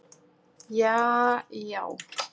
jaajá